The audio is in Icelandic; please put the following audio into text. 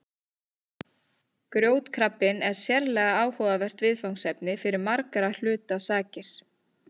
Grjótkrabbinn er sérlega áhugavert viðfangsefni fyrir margra hluta sakir.